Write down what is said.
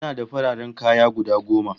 Ina da fararen kaya guda goma